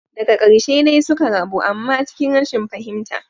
Daga karshe dai suka rabu amma cikin rashin fahimta.